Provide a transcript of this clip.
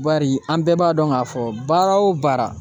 Bari an bɛɛ b'a dɔn k'a fɔ baara o baara